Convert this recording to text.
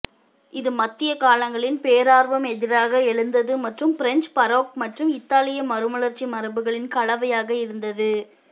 இது மத்திய காலங்களின் பேரார்வம் எதிராக எழுந்தது மற்றும் பிரஞ்சு பரோக் மற்றும் இத்தாலிய மறுமலர்ச்சி மரபுகளின் கலவையாக இருந்தது